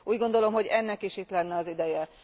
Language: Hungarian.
Úgy gondolom, hogy ennek is itt lenne az ideje.